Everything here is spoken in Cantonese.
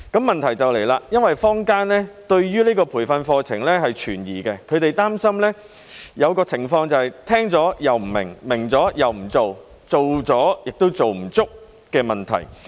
問題便出現，因為坊間對於這個培訓課程存疑，他們擔心出現一種情況，便是聽了卻不明白，明白了又不做，做了又沒有做足的問題。